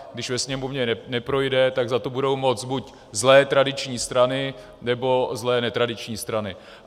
Když ve Sněmovně neprojde, tak za to budou moct buď zlé tradiční strany, nebo zlé netradiční strany.